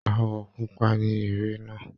Àwọ̀ pupa ní ère náà.